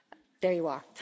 There you are.